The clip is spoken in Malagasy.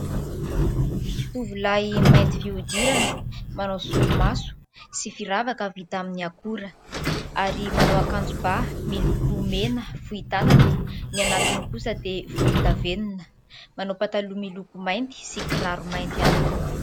Tovolahy : mainty fihodirana, manao solomaso sy firavaka vita amin'ny akora ary manao akanjo ba miloko mena fohy tanana, ny anatiny kosa dia volondavenona, manao pataloha miloko mainty sy kiraro mainty ihany koa.